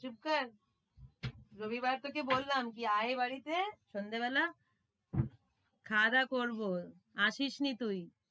চুপ কর রবিবার তোকে বললাম কি আয় বাড়িতে সন্ধেবেলা খাওয়া-দাওয়া করবো আসিসনি তুই।